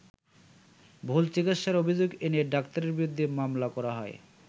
ভুল চিকিৎসার অভিযোগ এনে ডাক্তারের বিরুদ্ধে মামলা করা হয়।